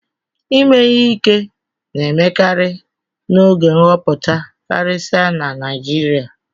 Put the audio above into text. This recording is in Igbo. Ime ihe ike na-emekarị n'oge nhọpụta karịsịa na Naijiria